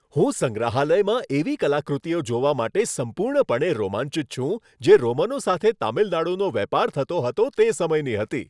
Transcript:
હું સંગ્રહાલયમાં એવી કલાકૃતિઓ જોવા માટે સંપૂર્ણપણે રોમાંચિત છું, જે રોમનો સાથે તમિલનાડુનો વેપાર થતો હતો તે સમયની હતી.